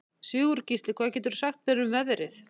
Sigurgísli, hvað geturðu sagt mér um veðrið?